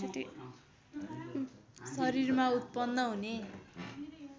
शरीरमा उत्पन्न हुने